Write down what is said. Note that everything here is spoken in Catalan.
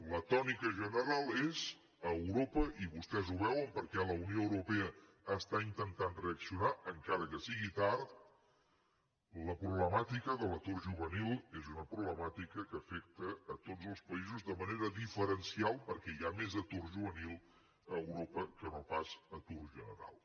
la tònica general és a europa i vostès ho veuen perquè la unió europea està intentant reaccionar encara que sigui tard la problemàtica de l’atur juvenil és una problemàtica que afecta a tots els països de manera diferencial perquè hi ha més atur juvenil a europa que no pas atur general